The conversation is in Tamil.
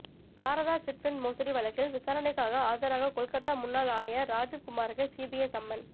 சாரதா சிட் ஃபண்ட் மோசடி வழக்கில் விசாரணைக்காக ஆஜராக கொல்கத்தா முன்னாள் ஆணையர் ராஜீவ்குமாருக்கு சிபிஐ சம்மன்